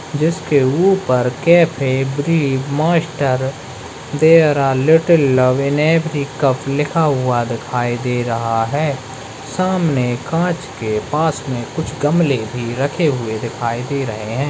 जिसके ऊपर cafe brew master there are little love in every cup लिखा हुआ दिखाई दे रहा है सामने कांच के पास में कुछ गमले भी रखे हुए दिखाई दे रहे हैं।